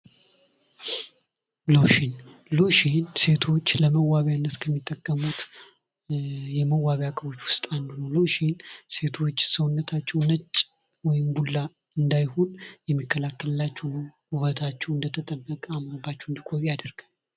ሎሽን ሎሽን ሴቶች ለመዋቢያነት ከሚጠቀሙት የመዋቢያ እቃዎች ውስጥ አንዱ ነው። ሎሽን ሴቶች ሰውነታቸው ነጭ ወይም ቡላ እንዳይሆን የሚከላከልላቸው ውበታቸው እንደተጠበቀ አምሮባቸው እንዲቆዩ ያደርጋል።